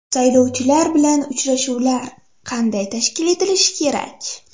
Saylovchilar bilan uchrashuvlar qanday tashkil etilishi kerak?